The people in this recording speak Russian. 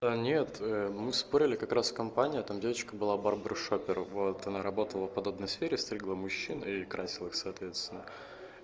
нет мы спорили как раз в компании там девочка была барбара-шоппер вот она работала в подобной сфере стригла мужчин и красила их соответственно